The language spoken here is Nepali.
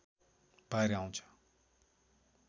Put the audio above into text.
भएर आउँछ